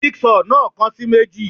Jig saw náà kan sì meji